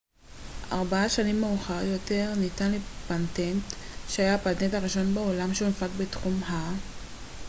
ארבע שנים מאוחר יותר ניתן פטנט שהיה הפטנט הראשון בעולם שהונפק בתחום ה-mri